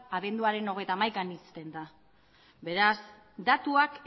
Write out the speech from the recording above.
abenduaren hogeita hamaikaan ixten da beraz datuak